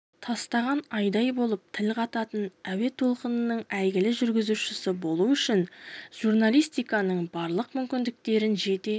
тастаған айдай болып тіл қататын әуе толқынының әйгілі жүргізушісі болу үшін журналистиканың барлық мүмкіндіктерін жете